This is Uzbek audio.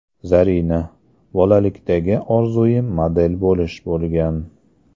Zarina: Bolalikdagi orzuyim model bo‘lish bo‘lgan.